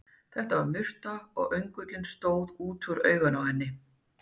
Þetta var murta, og öngullinn stóð út úr auganu á henni.